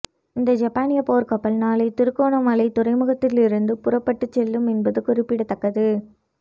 இந்த ஜப்பானிய போர்க்கப்பல் நாளை திருகோணமலைத் துறைமுகத்திலிருந்து புறப்பட்டுச் செல்லும் என்பது குறிப்பிடத்தக்கது